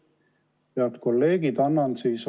Head kolleegid!